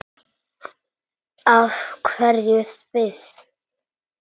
Af hverju Sviss?